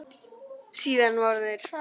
Síðan voru þeir